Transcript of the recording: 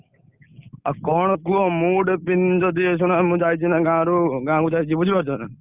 କଣ କୁହ ମୁଁ ଗୋଟେ ପି~ ଯଦି ଶୁଣମୁଁ ଯାଇଛି ନା ଗାଁରୁ ଗାଁକୁ ଯାଇଛି ବୁଝିପାରୁଛନା।